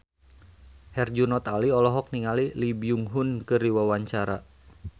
Herjunot Ali olohok ningali Lee Byung Hun keur diwawancara